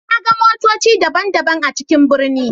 Na ga motoci daban-daban a cikin birni.